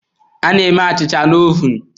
A na-eme achịcha na ovun.